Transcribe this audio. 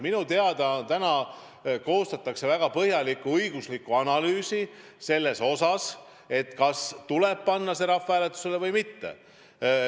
Minu teada praegu koostatakse väga põhjalikku õiguslikku analüüsi, kas see tuleb panna rahvahääletusele või mitte.